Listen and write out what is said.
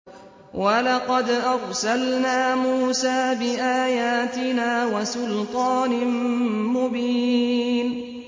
وَلَقَدْ أَرْسَلْنَا مُوسَىٰ بِآيَاتِنَا وَسُلْطَانٍ مُّبِينٍ